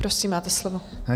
Prosím, máte slovo.